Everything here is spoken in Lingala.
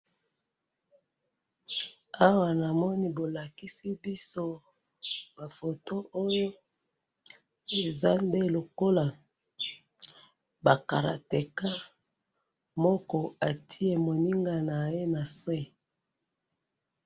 Awa balakisi biso ba judoka moko ati moninga na ye na se.